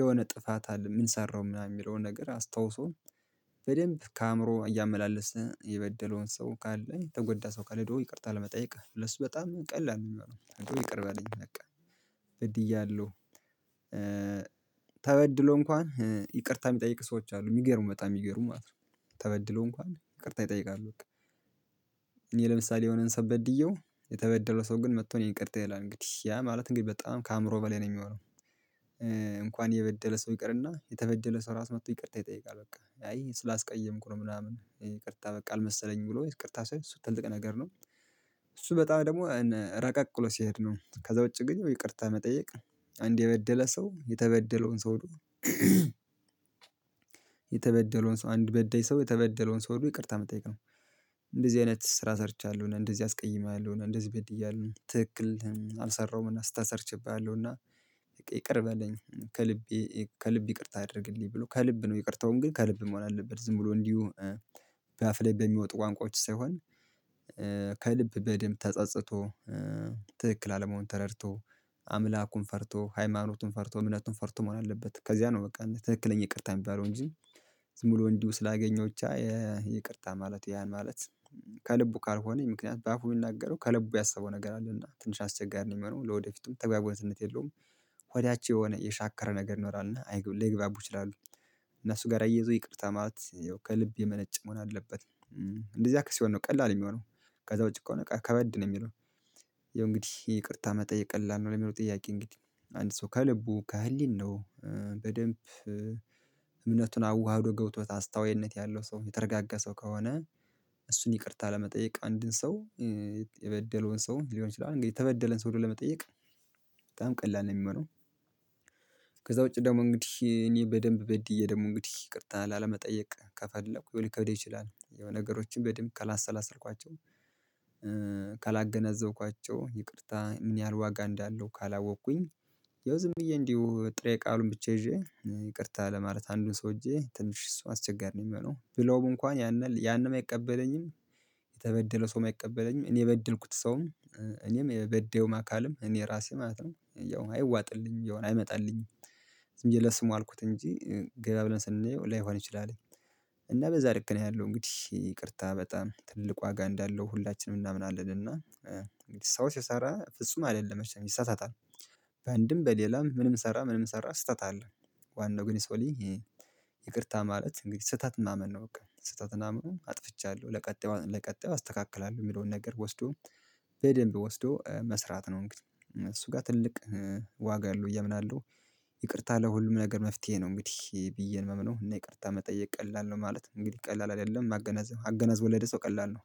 የሆነ ጥፋት አለ የምንሰራው ምናምን የሚለውን ነገር አስታውሶ በደንብ ከአእምሮ እያመላለሰ የበደለውን ሰው ካለ የተጎዳ ሰው ካለ ደግሞ ይቅርታ ለመጠየቅ ሁለት ሺህ በጣም ቀላል ነው። የሚሆነው ይቅር በለኝ በቃ ግድያለሁ ተበድሎ እንኳን ይቅርታ የሚጠይቅ ሰዎች አሉ የሚገርሙ በጣም የሚገርሙ ማለት ነው። ተበድሎ እንኳን ይቅርታ ይጠይቃሉ። እኔ ለምሳሌ የሆነን ሰብ በድየው የተበደረው ሰው ግን መጥቶ እኔ ይቅርታ ይላል እንግዲህ ያ ማለት እንግዲህ በጣም ከአእምሮ በላይ ነው የሚሆነው። እንኳን የበደለ ሰው ይቅርና የተበደለ ሰው ራሱ መጥቶ ይቅርታ ይጠይቃል በቃ አይ ስላስቀየምኩ ነው ምናምን ይቅርታ በቃ አልመሰለኝም ብሎ ይቅርታ ሳይሆን ስትልቅ ነገር ነው። እሱ በጣም ደግሞ ረቀቅሎ ሲሄድ ነው ከዛ ውጪ ግን ይቅርታ መጠየቅ አንዴ የበደለ ሰው የተበደለውን ሰው። የተበደለውን ሰው አንድ በደይ ሰው የተበደለውን ሰው ወይ ይቅርታ የምትጠይቀው አይነት ስራ ሰርቻለሁና እንደዚህ አስቀይማለሁና እንደዚህ በድዬሃለው ትክክል አልሰራሁም እና ስታሰርችብሃለሁ እና ይቅር በለኝ። ከልቤ ከልቤ ይቅርታ አድርግልኝ ብሎ ከልብ ነው ይቅርተውን ግን ከልብ መሆን አለበት ዝም ብሎ እንዲሁ በአፍ ላይ በሚወጡ ቋንቋዎች ሳይሆን በደንብ ተጸጽቶ ትክክል አለመሆን ተረድቶ አምላኩን ፈርቶ ሃይማኖቱን ፈርቶ እምነቱን ፈርቶ መሆን አለበት። ከዚያ ነው በቃ ትክክለኛ ይቅርታ የሚባለው እንጂ። ሙሉ እንዲሁ ስላገኘሁት ይቅርታ ማለት ያን ማለት ከልቡ ካልሆነኝ ምክንያት በአፉ የሚናገረው ከልቡ ያሰበው ነገር አለ እና ትንሽ አስቸጋሪ ነኝ ሆኖ ለወደፊቱም ተግባቡነትነት የለውም። ሆዳቸው የሆነ የሻከረ ነገር ኖሯልና ለግባቡ ይችላሉ እነሱ ጋር አየሁት ይቅርታ ማለት ያው ከልብ የመነጨ መሆን አለበት። እንደዚህ አክስ የሆነ ነው ቀላል የሚሆነው ከዛ ውጪ ከሆነ ከበድ ነው የሚለው ያው እንግዲህ ይቅርታ መጠየቅ ቀላል ነው። ለሚለው ጥያቄ እንግዲህ አንድ ሰው ከልቡ ከህሊናው በደንብ እምነቱን አዋህ አዋህዶ ገብቶት አስታውይነት ያለው ሰው የተረጋጋ ሰው ከሆነ እሱን ይቅርታ ለመጠየቅ አንድን ሰው የበደለውን ሰው ሊሆን ይችላል እንግዲህ የተበደለን ሰው ለመጠየቅ በጣም ቀላል ነው የሚመራው። ከዛ ውጪ ደግሞ እንግዲህ እኔ በደንብ በድዬ ደግሞ እንግዲህ ይቅርታ ላለመጠየቅ ከፈለኩ ሊከብድ ይችላል የሆነ ነገሮችን በድምቅ ካላሰላሰልኳቸው ካላገነዘብኳቸው ይቅርታ ምን ያህል ዋጋ እንዳለው ካላወቅኩኝ ያው ዝም ብዬ እንዲሁ ጥሬ ቃሉን ብቻ ይዤ ይቅርታ ለማለት አንዱን ሰውዬ ትንሽ እሱ አስቸጋሪ ነው የሚሆነው ብለው እንኳን ያንን ያንን አይቀበለኝም። የተበደለ ሰው አይቀበለኝም እኔ የበድልኩት ሰውም እኔም የበደውም አካልም እኔ ራሴ ማለት ነው ያው አይዋጥልኝ ያው አይመጣልኝም እየለሰሙ አልኩት እንጂ ገበያ ብለን ስንለው ላይሆን ይችላል። እና በዛ ልክ ነው ያለው እንግዲህ ይቅርታ በጣም ትልቅ ዋጋ እንዳለው ሁላችንም እናምናለን እና እንግዲህ ሲሰራ ፍጹም አይደለም ይሳሳታል። በአንድም በሌላም ምንም ሰራ ምንም ሰራ ስህተት አለ ዋናው ግን ይሰውልኝ። ይቅርታ ማለት እንግዲህ ስህተት ማመን ነው በቃ ስህተትና ኘምኑን አጥፍቻለሁ ለቀጣዩ ለቀጣዩ አስተካክላለሁ የሚለውን ነገር ወስዶ በደንብ ወስዶ መስራት ነው። እንግዲህ እሱ ጋር ትልቅ ዋጋ አለው ብዬ አምናለው አለው። ይቅርታ ለሁሉም ነገር መፍትሄ ነው እንግዲህ ብዬ ንመም ነው እና ይቅርታ መጠየቅ ቀላል ነው። ማለት እንግዲህ ቀላል አይደለም ማገናዘብ አገናዝ ወለደ ሰው ቀላል ነው